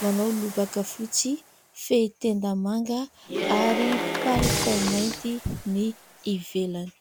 Manao lobaka fotsy, fehitenda manga ary palitao mainty ny ivelany.